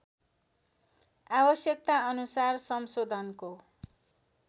आवश्यकताअनुसार संशोधनको